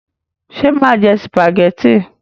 Ṣé mà jẹ sìpàgẹ́tì?